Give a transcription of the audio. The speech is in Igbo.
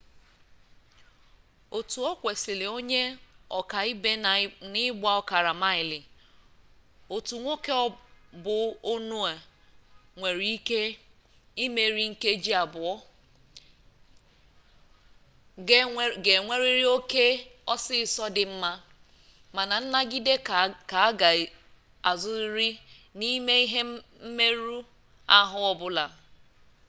otu okwesiri onye oka-ibe na igba okara-maili otu nwoke bu onue nwere ike imeri nkeji abuo ga enweriri oke osiso di nma mana nnagide ka aga azuriri nime ihe mmeru-ahu obula